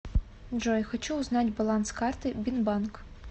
джой хочу узнать баланс карты бинбанк